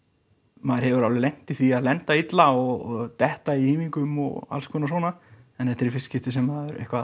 maður hefur alveg lent í því að lenda illa og detta í hífingum og alls konar svona en þetta er í fyrsta skipti sem að eitthvað